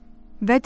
və dedi: